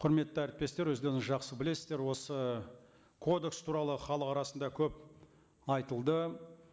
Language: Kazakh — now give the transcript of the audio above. құрметті әріптестер өздеріңіз жақсы білесіздер осы кодекс туралы халық арасында көп айтылды